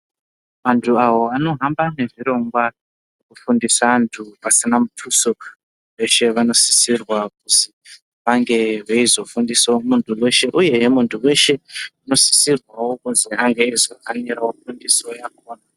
Vantu avo vanohamba nezvirongwa zvekufundisa vantu pasina mutuso veshe vanosisirwa kuzi vange veizofundisa muntu weshe. Uyehe muntu weshe unosisirwawo kunge eizotambira fundiso yakhona.